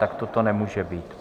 Takto to nemůže být!